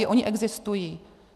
I oni existují.